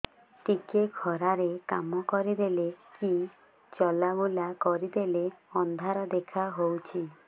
ଟିକେ ଖରା ରେ କାମ କରିଦେଲେ କି ଚଲବୁଲା କରିଦେଲେ ଅନ୍ଧାର ଦେଖା ହଉଚି